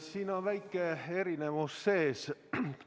Siin on väike erinevus sees.